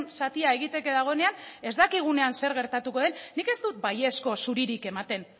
zatia egiteke dagoenean ez dakigunean zer gertatuko den nik ez dut baiezko zuririk ematen